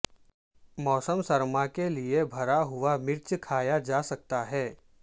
موسم سرما کے لئے بھرا ہوا مرچ کھایا جا سکتا ہے